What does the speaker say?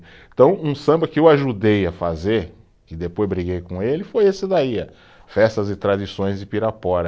Então, um samba que eu ajudei a fazer, que depois briguei com ele, foi esse daí a, Festas e Tradições de Pirapora.